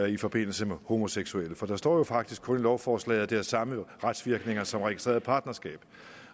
i forbindelse med homoseksuelle for der står jo faktisk kun i lovforslaget at det har samme retsvirkninger som registreret partnerskab